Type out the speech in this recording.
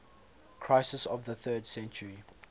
crisis of the third century